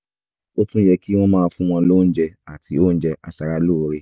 ó tún yẹ kí wọ́n máa fún wọn lóúnjẹ àti oúnjẹ aṣaralóore